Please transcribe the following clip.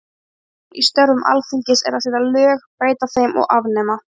Kjarninn í störfum Alþingis er að setja lög, breyta þeim og afnema.